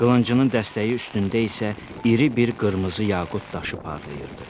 Qılıncının dəstəyi üstündə isə iri bir qırmızı yaqut daşı parlayırdı.